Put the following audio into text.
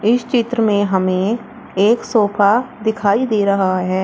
इस चित्र में हमें एक सोफा दिखाई दे रहा है।